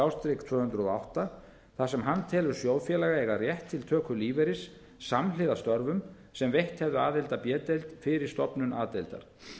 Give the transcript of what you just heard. þúsund og átta þar sem hann telur sjóðfélaga eiga rétt til töku lífeyris samhliða störfum sem veitt hefðu aðild að b deild fyrir stofnun a deildar